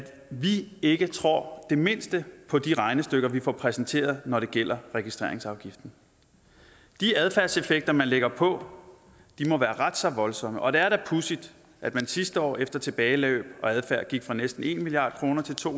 vi ikke tror det mindste på de regnestykker vi får præsenteret når det gælder registreringsafgiften de adfærdseffekter man lægger på må være ret så voldsomme og det er da pudsigt at man sidste år efter tilbageløb og adfærd gik fra næsten en milliard kroner til to